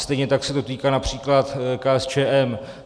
Stejně tak se to týká například KSČM.